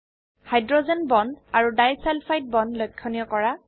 hydrogen bond আৰু disulphide bond লক্ষনীয় কৰা